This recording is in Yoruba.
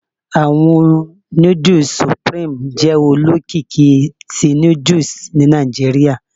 Awọn nudus Supreme jẹ olokiki ti nudusni Nigeria